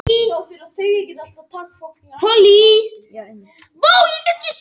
Samningsgerð vegna hjúkrunarheimilis stöðvuð